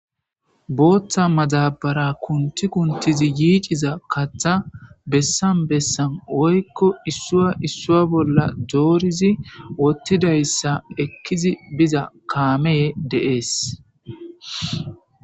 booththa mazabara kunti kuntizi yiiciza katha bessan bessan woykko issuwa issua bolla doorizi wottidayssa ekkizi biza kaame deees